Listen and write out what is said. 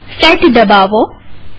set દબાવો